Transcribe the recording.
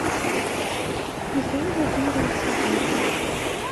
михаил владимирович дзагоев